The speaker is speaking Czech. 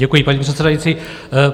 Děkuji, paní předsedající.